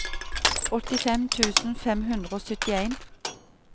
åttifem tusen fem hundre og syttien